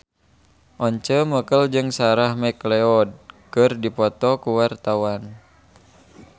Once Mekel jeung Sarah McLeod keur dipoto ku wartawan